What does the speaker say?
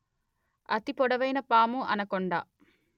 అతి పొడవైన పాము అనకొండ